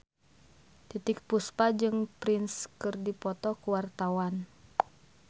Titiek Puspa jeung Prince keur dipoto ku wartawan